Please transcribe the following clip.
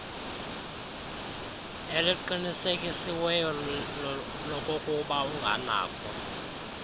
eliqinisekisiweyo lokokuba unganakho